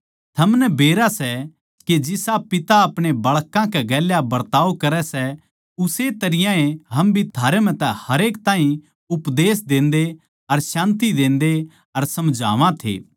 थमनै बेरा सै के जिसा पिता अपणे बाळकां कै गेल्या बरताव करै सै उस्से तरियां ए हम भी थारै म्ह तै हरेक ताहीं उपदेश देन्दे अर शान्ति देन्दे अर समझावां थे